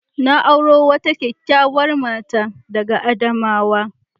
Na auro wata kyakkyawar mata daga Adamawa.